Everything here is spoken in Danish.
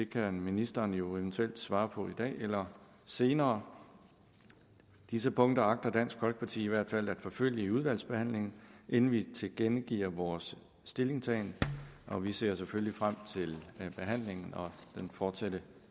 kan ministeren jo eventuelt svare på i dag eller senere disse punkter agter dansk folkeparti i hvert fald at forfølge i udvalgsbehandlingen inden vi tilkendegiver vores stillingtagen og vi ser selvfølgelig frem til behandlingen og den fortsatte